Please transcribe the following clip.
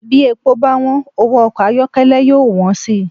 Bí epo báwọ́n, owó ọkọ ayọ́kẹ́lẹ́ yóò wọ́n sì